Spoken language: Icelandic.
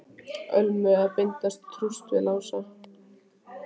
Ölmu að binda trúss við Lása.